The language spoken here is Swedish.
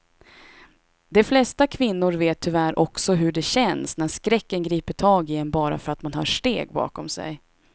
De flesta kvinnor vet tyvärr också hur det känns när skräcken griper tag i en bara för att man hör steg bakom sig.